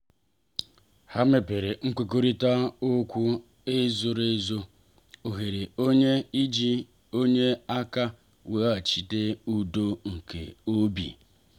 ha mebere nkwekọrịta zoro ezo na oghere onye iji nye aka weghachite udo nke obi.